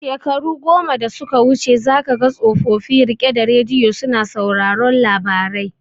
Shekaru goma da suka wuce za kaga tsofofi rike da radiyo suna sauraron labarai